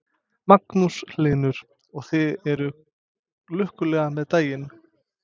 Magnús Hlynur: Og þið eruð lukkuleg með daginn?